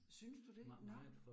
Synes du det? Nåh